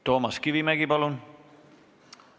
Toomas Kivimägi, palun!